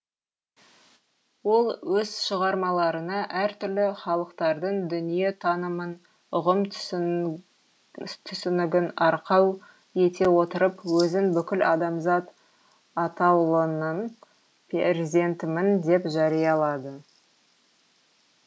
ол өз шығармаларына әр түрлі халықтардың дүниетанымын ұғым түсінігін арқау ете отырып өзін бүкіл адамзат атаулының перзентімін деп жариялады